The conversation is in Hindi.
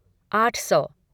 आठ सौ